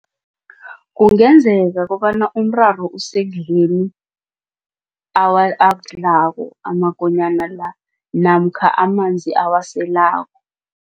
Kungenzeka kobana umraro usekudleni akudlako amakonyana la namkha amanzi awaselako.